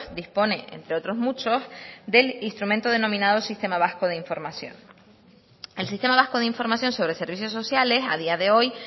dispone entre otros muchos del instrumento denominado sistema vasco de información el sistema vasco de información sobre servicios sociales a día de hoy